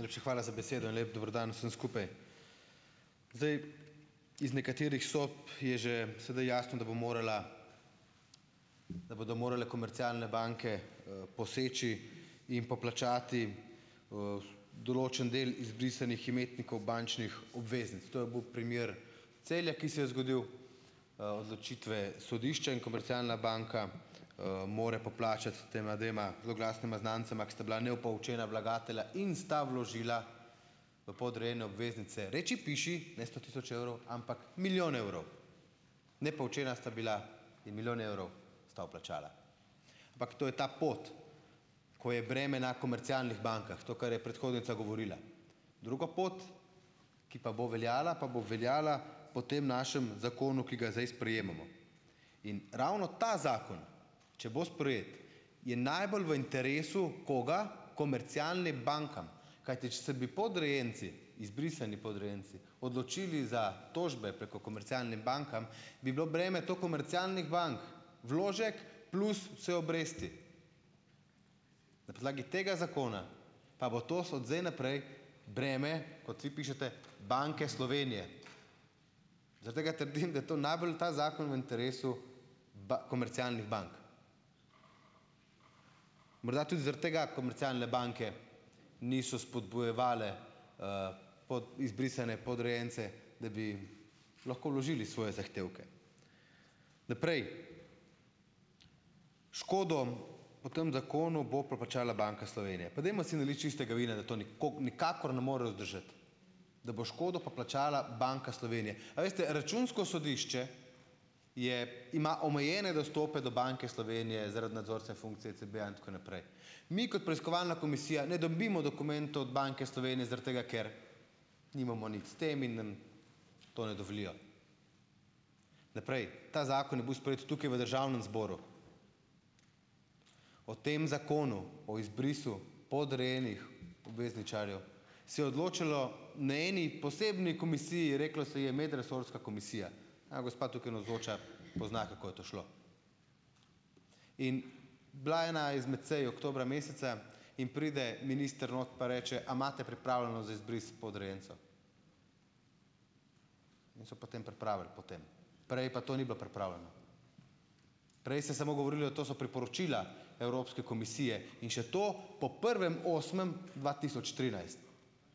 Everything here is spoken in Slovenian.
Najlepša hvala za besedo in lep dober dan vsem skupaj. Zdaj, iz nekaterih sob je že sedaj jasno, da bo morala, da bodo morale komercialne banke poseči in poplačati določen del izbrisanih imetnikov bančnih obveznic. To je bil primer Celja, ki se je zgodil. odločitve sodišča in komercialna banka mora poplačati tema dvema zloglasnima znancema, ki sta bila nepoučena vlagatelja in sta vložila podrejene obveznice reči, piši, ne sto tisoč evrov, ampak milijon evrov. Nepoučena sta bila in milijon evrov sta vplačala. Ampak to je ta pot, ko je breme na komercialnih bankah, to, kar je predhodnica govorila. Drugo pot, ki pa bo veljala, pa bo veljala po tem našem zakonu, ki ga zdaj sprejemamo. In ravno ta zakon, če bo sprejet, je najbolj v interesu koga? Komercialnim bankam, kajti, če se bi podrejenci, izbrisani podrejenci, odločili za tožbe preko komercialne bankam, bi bilo breme do komercialnih bank vložek plus vse obresti. Na podlagi tega zakona pa bo tos od zdaj naprej breme, kot vi pišete, Banke Slovenije. Zaradi tega trdim, da to najbolj, ta zakon, v interesu komercialnih bank. Morda tudi zaradi tega komercialne banke niso spodbujevale izbrisane podrejence, da bi lahko vložili svoje zahtevke. Naprej. Škodo po tam zakonu bo poplačala Banka Slovenije. Pa dajmo si naliti čistega vina, da to nikakor ne more vzdržati. Da bo škodo poplačala Banka Slovenije. A veste, Računsko sodišče je, ima omejene dostope do Banke Slovenije zaradi nadzorstvene funkcije, CBA in tako naprej. Mi, kot preiskovalna komisija ne dobimo dokumentov Banke Slovenije zaradi tega, ker nimamo nič s tem in nam to ne dovolijo. Naprej. Ta zakon je bil sprejet tukaj v Državnem zboru. O tem zakonu, o izbrisu podrejenih obvezničarjev, se je odločalo na eni posebni komisiji, reklo se je Medresorska komisija. Ta gospa, tukaj navzoča , pozna, kako je to šlo. In, bila je ena izmed sej oktobra meseca in pride minister not pa reče: "A imate pripravljeno za izbris podrejencev?" So potem pripravili potem. Prej pa to ni bilo pripravljeno. Prej se samo govorilo, to so priporočila Evropske komisije, in še to po prvem osmem dva tisoč trinajst.